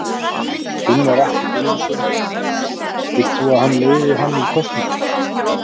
Gunnar Atli Gunnarsson: Vilt þú að hann leiði hann í kosningunum?